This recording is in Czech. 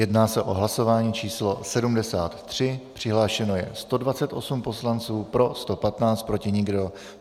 Jedná se o hlasování číslo 73, přihlášeno je 128 poslanců, pro 115, proti nikdo.